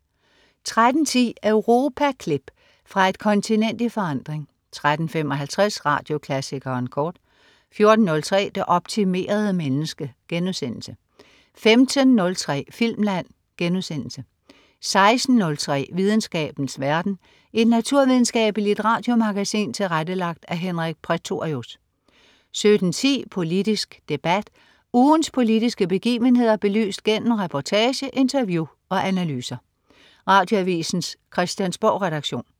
13.10 Europaklip. Fra et kontinent i forandring 13.55 Radioklassikeren kort 14.03 Det optimerede menneske* 15.03 Filmland* 16.03 Videnskabens verden. Et naturvidenskabeligt radiomagasin tilrettelagt af Henrik Prætorius 17.10 Politisk debat. Ugens politiske begivenheder belyst gennem reportage, interview og analyser. Radioavisens Christiansborgredaktion